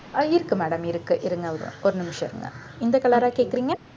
அஹ் இருக்கு madam இருக்கு இருங்க ஒரு நிமிஷம் இருங்க இந்த color ஆ கேட்குறீங்க